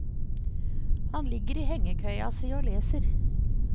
Han ligger i hengekøya si og leser.